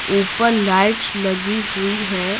ऊपर लाइट्स लगी हुई है।